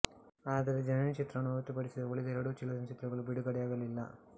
ಆದರೆ ಜನನಿ ಚಿತ್ರವನ್ನು ಹೊರತುಪಡಿಸಿದರೆ ಉಳಿದ ಎರಡು ಚಲನಚಿತ್ರಗಳು ಬಿಡುಗಡೆಯಾಗಲಿಲ್ಲ